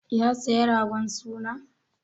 Ya saya ragon suna?